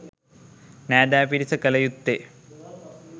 නෑදෑ පිරිස කළ යුත්තේ